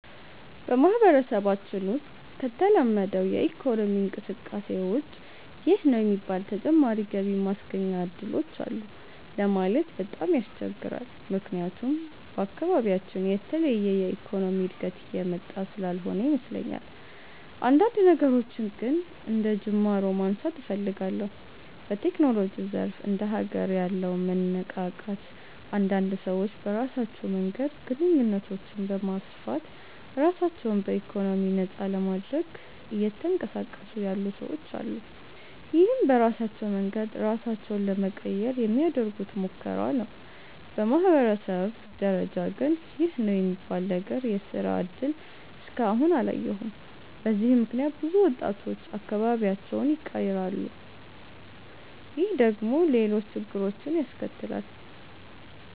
በማህበረሰባችን ውሰጥ ከተለመደው የኢኮኖሚ እንቅስቃሴ ውጭ ይህ ነው የሚባል ተጨማሪ ገቢ ማስገኛ እድሎች አሉ ለማለት በጣም ያስቸግራል። ምክያቱም በአካባቢያችን የተለየ የኢኮኖሚ እድገት እየመጣ ስላልሆነ ይመስለኛል። አንዳንድ ነገሮችን ግን አንደጅማሮ ማንሳት እፈልጋለሁ። በቴክኖሎጂው ዘርፍ እንደ ሀገር ያለው መነቃቃት አንዳንድ ሰዎች በራሳቸው መንገድ ግንኙነቶችን በማስፋት ራሳቸው በኢኮኖሚ ነፃ ለማድረግ እየተንቀሳቀሱ ያሉ ሰወች አሉ። ይህም በራሳቸው መንገድ ራሳቸውን ለመቀየር የሚያደርጉት ሙከራ ነው። በማህበረሰብ ደረጃ ግን ይህ ነው የሚባል ነገር የስራ እድል እስከ አሁን አላየሁም። በዚህም ምክንያት ብዙ ወጣቶች አካባቢያቸውን ይቀራሉ። ይህ ደግሞ ሌሎች ችግሮችን ያስከትላል።